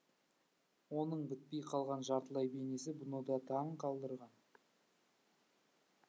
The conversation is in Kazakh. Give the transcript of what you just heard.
оның бітпей қалған жартылай бейнесі бұны да таң қалдырған